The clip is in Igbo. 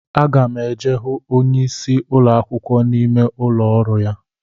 Aga m eje hụ onyeisi ụlọ akwụkwọ n'ime ụlọ ọrụ ya